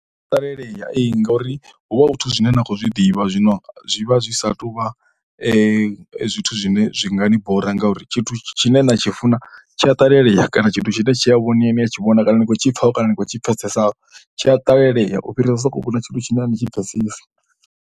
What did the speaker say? I ya ṱalelea, ee ngauri hu vha hu zwithu zwine na khou zwi ḓivha zwino zwi vha zwi sa tou vha zwithu zwine zwi nga ni bora ngauri tshithu tshine na tshi funa tshi a ṱalelea kana tshithu tshine tshi a vhonea ni a tshi vhona kana ni khou tshi pfha kana ni kho tshi pfhesesa tshi a ṱalelea u fhirisa u sokou vhona tshithu tshine a ni tshi pfhesesi.